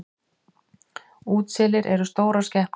Útselir eru stórar skepnur.